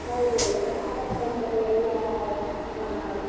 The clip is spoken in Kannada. ಹೌದು Startup company ಎಲ್ಲ ಅಹ್. Speaker